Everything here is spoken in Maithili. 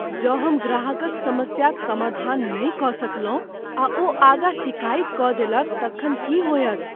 जँ हम ग्राहकक समस्याक समाधान नहि कऽ सकलहुँ आ ओ आगाँ सिकाइत कऽ देलक तखन की होयत?